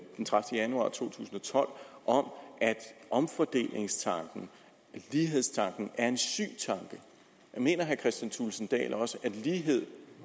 den tredivete januar to tusind og tolv om at omfordelingstanken lighedstanken er en syg tanke mener herre kristian thulesen dahl også at lighed